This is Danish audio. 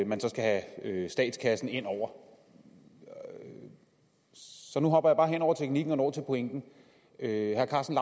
man skal have statskassen ind over så nu hopper jeg bare hen over teknikken og når til pointen herre karsten